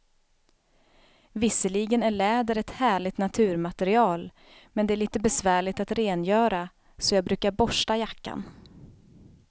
Visserligen är läder ett härligt naturmaterial, men det är lite besvärligt att rengöra, så jag brukar borsta jackan.